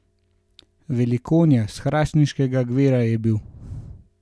Velikonja, s hrastniškega gverka, je bil!